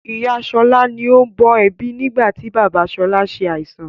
Ìyá sọlá ni ó ń bọ̀ ẹbí nigbati bàbá sọlá ṣe àìsàn